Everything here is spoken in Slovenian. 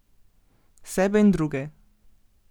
Sebe in druge.